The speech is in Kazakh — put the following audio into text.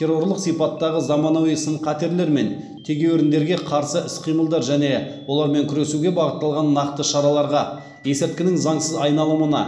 террорлық сипаттағы заманауи сын қатерлер мен тегеуріндерге қарсы іс қимылдар және олармен күресуге бағытталған нақты шараларға есірткінің заңсыз айналымына